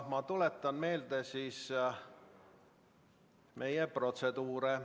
Ma tuletan meelde meie protseduure.